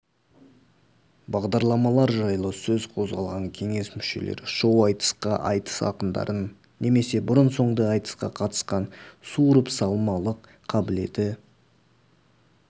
бағдарламалар жайлы сөз қозғалған кеңес мүшелері шоу-айтысқа айтыс ақындарын немесе бұрын-соңды айтысқа қатысқан суырыпсалмалық қабілеті